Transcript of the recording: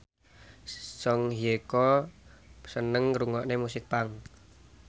Song Hye Kyo seneng ngrungokne musik punk